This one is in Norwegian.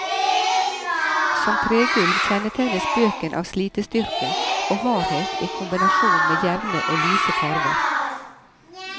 Som tregulv kjennetegnes bøken av slitestyrke og hardhet i kombinasjon med jevne og lyse farver.